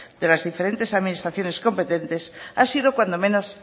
de las diferentes administraciones competentes ha sido cuando menos